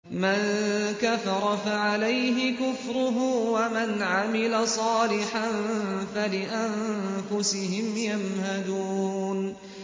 مَن كَفَرَ فَعَلَيْهِ كُفْرُهُ ۖ وَمَنْ عَمِلَ صَالِحًا فَلِأَنفُسِهِمْ يَمْهَدُونَ